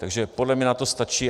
Takže podle mě na to stačí...